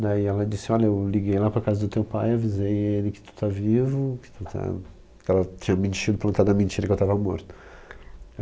Daí ela disse, olha, eu liguei lá para a casa do teu pai, avisei ele que tu tá vivo, que tu tá... Ela tinha mentido, plantado a mentira que eu tava morto.